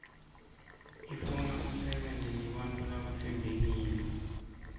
ifuna usebente nebantfu labatsembekile